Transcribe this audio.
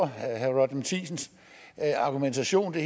herre roger matthisens argumentation er